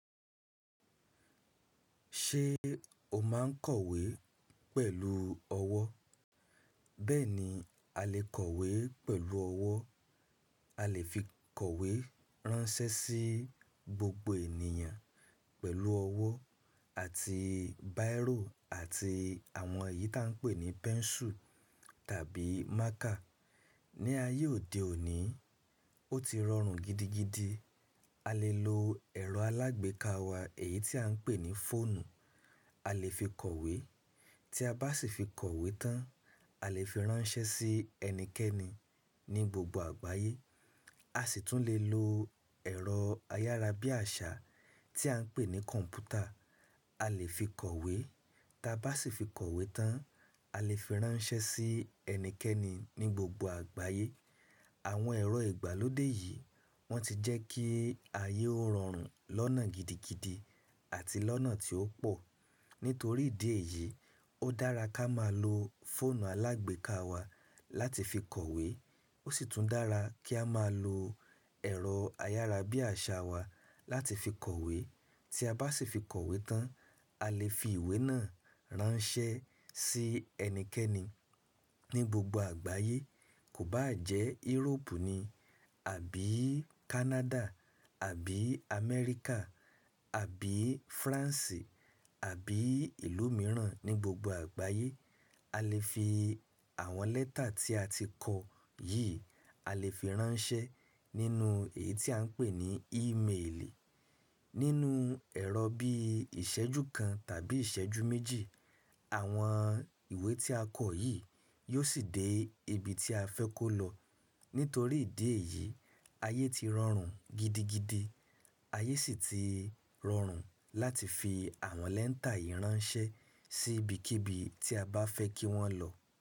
Ṣé e, o máa n kọ̀wé pẹ̀lú ọwọ́? Bẹ́ẹ̀ni a lè kọ̀wé pẹ̀lú ọwọ́. A lè fi kọ̀wé ránṣẹ́ sí gbogbo ènìyàn, pẹ̀lú ọwọ́ àti báírò àti àwọn èyí tí a ń pè ní pẹ́ńsù tàbí mákà. Ni ayé òde òní, o ti rọrùn gidigidi. A lè lo ẹ̀rọ alágbèéká wa, èyí tí a ń pè ní fóònù. A lè fi kọ̀wé, tí a bá sì fi kọ̀wé tán, a lè fi ránṣẹ́ sí ẹnikẹ́ni ní gbogbo àgbáyé. A sì tún lè lo ẹ̀rọ ayárabíàṣá, tí a ń pè ní kọ̀m̀pútà. A lè fi kọ̀wé, tí a bá sì fi kọ̀wé tán, a lè fi ránṣẹ́ sí ẹnikẹ́ni ní gbogbo àgbáyé. Àwọn ẹ̀rọ ìgbàlódé yìí, wọ́n ti jẹ́ kí ayé ó rọrùn lọ́nà gidigidi àti lọ́nà tí ó pò. Nítorí ìdí èyí, ó dára ká máa lo fóònù alágbèéká wa láti fi kọ̀wé. Ó sì tún dára kí a máa loo, ẹ̀rọ ayárabíàṣá wa láti fi kọ̀wé. Tí a bá sì fi kọ̀wé tán, a lè fi ìwé náà ránṣẹ́ sí ẹnikẹ́ni ní gbogbo àgbáyé. Kò bá jẹ́ irópù ni, àbí Kánádà, àbí Amẹ́ríkà, àbí Fransi, àbí ìlú mìíràn ní gbogbo àgbáyé. A lè fi àwọn lẹ́tà tí a ti kọ yìí, a lè fi ránṣẹ́ nínú èyí tí a ń pè ní ímeèlì. Nínú ẹ̀rọ bí ìṣẹ́jú kan tàbí ìṣẹ́jú méjì, àwọn ìwé tí a kọ yìí, yóò sì dé ibi tí a fẹ́ kó lọ. Nítorí ìdí èyí, ayé ti rọrùn gidigidi. Ayé sì ti rọrùn láti fi àwọn lẹ́tà yìí ránṣẹ́, sí ibikíbi tí a bá fẹ́ kí wọ́n lọ.